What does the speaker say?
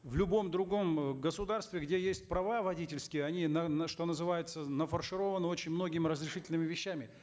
в любом другом э государстве где есть права водительские они на что называется нафаршированы очень многими разрешительными вещами